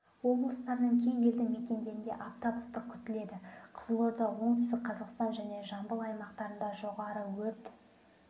облыстарының кей елді мекендерінде аптап ыстық күтіледі қызылорда оңтүстік қазақстан және жамбыл аймақтарында жоғары өрт